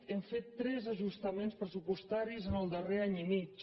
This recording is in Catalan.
hem fet tres ajustaments pressupostaris en el darrer any i mig